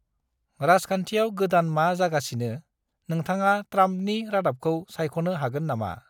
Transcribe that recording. रााजखान्थियाव गोदान मा जागासिनो, नोंथाङा ट्राम्पनि रादाबखौ सायख'नो हागोन नामा?